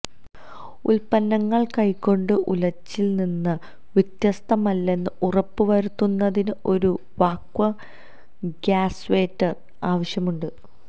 ഉത്പന്നങ്ങൾ കൈകൊണ്ട് ഉലച്ചിൽ നിന്ന് വ്യത്യസ്തമല്ലെന്ന് ഉറപ്പ് വരുത്തുന്നതിന് ഒരു വാക്വം ഗ്യാസ്വേറ്റർ ആവശ്യമുണ്ട്